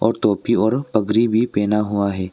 और टोपी और पगड़ी भी पहना हुआ है।